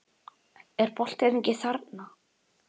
Er boltinn ekki þarna?